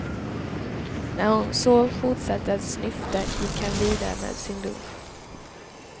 När hon så fortsatte att snyfta, gick han vidare med sin lunch.